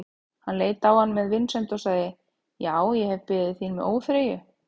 Hann leit á hann með vinsemd og sagði:-Já, ég hef beðið þín með óþreyju.